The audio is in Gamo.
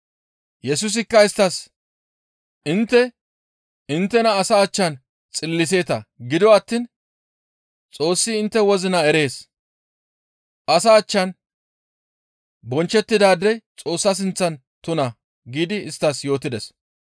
Yesusikka isttas, «Intte inttena asa achchan xilliseeta; gido attiin Xoossi intte wozina erees; asa achchan bonchchettidaadey Xoossa sinththan tuna» giidi yootides.